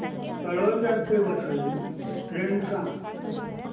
तळोजा ते वसई ट्रेन सांग